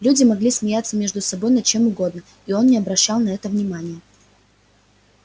люди могли смеяться между собой над чем угодно и он не обращал на это внимания